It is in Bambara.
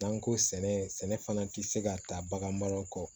N'an ko sɛnɛ fana tɛ se ka taa baganmara kɔ